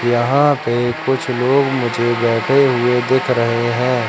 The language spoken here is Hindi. यहां पे कुछ लोग मुझे बैठे हुए दिख रहे हैं।